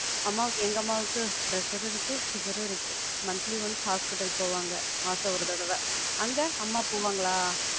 அம்மாவுக்கு, எங்க அம்மாவுக்கு pressure ரும் இருக்கு, sugar ரும் இருக்கு. monthly once hospital போவாங்க. மாசம் ஒரு தடவ. அங்க? அம்மா போவாங்களா?